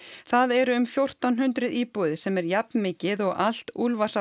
það eru um fjórtán hundruð íbúðir sem er jafnmikið og allt